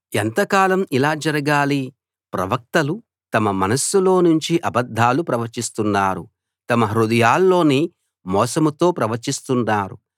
ఎంతకాలం ఇలా జరగాలి ప్రవక్తలు తమ మనస్సులో నుంచి అబద్ధాలు ప్రవచిస్తున్నారు తమ హృదయాల్లోని మోసంతో ప్రవచిస్తున్నారు